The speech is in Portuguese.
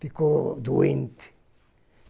Ficou doente.